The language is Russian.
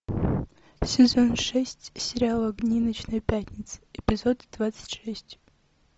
сезон шесть сериала огни ночной пятницы эпизод двадцать шесть